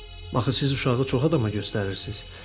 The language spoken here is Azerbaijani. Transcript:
Axı siz uşağı çox adama göstərirsiz.